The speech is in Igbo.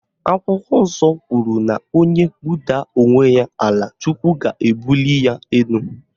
Akwụkwọ nsọ kwuru na onye budaa onwe ya ala Chukwu ga-ebuli ya elu